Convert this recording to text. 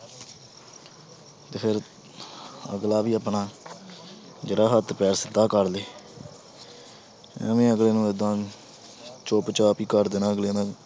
ਤੇ ਫਿਰ ਅਗਲਾ ਵੀ ਆਪਣਾ ਜਿਹੜਾ ਹੱਥ ਪੈਰ ਸਿੱਧਾ ਕਰ ਲਏ ਐਵੇਂ ਅਗਲੇ ਨੂੰ ਏਦਾਂ ਚੁੱਪਚਾਪ ਹੀ ਕਰ ਦੇਣਾ ਅਗਲੇ ਨਾਲ,